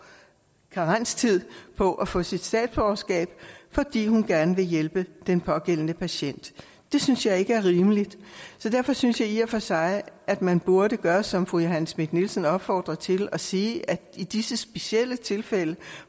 karenstid på at få sit statsborgerskab fordi hun gerne ville hjælpe den pågældende patient det synes jeg ikke er rimeligt så derfor synes jeg i og for sig at man burde gøre som fru johanne schmidt nielsen opfordrede til nemlig at sige at i disse specielle tilfælde